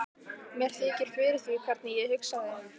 Mér þykir fyrir því hvernig ég hugsaði.